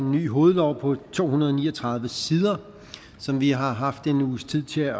en ny hovedlov på to hundrede og ni og tredive sider som vi har haft en uges tid til at